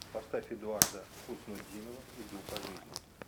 поставь эдуарда хуснутдинова иду по жизни